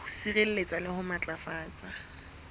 ho sireletsa le ho matlafatsa